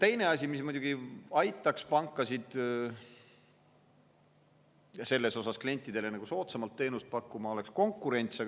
Teine asi, mis muidugi aitaks pankadel klientidele soodsamalt teenust pakkuda, oleks konkurents.